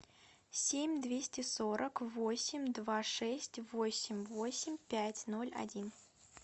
семь двести сорок восемь два шесть восемь восемь пять ноль один